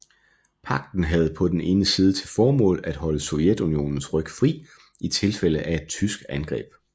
Pagten havde på den ene side til formål at holde Sovjetunionens ryg fri i tilfælde af et tysk angreb